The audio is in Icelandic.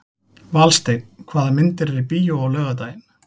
Valsteinn, hvaða myndir eru í bíó á laugardaginn?